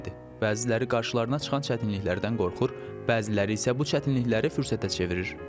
Bəziləri qarşılarına çıxan çətinliklərdən qorxur, bəziləri isə bu çətinlikləri fürsətə çevirir.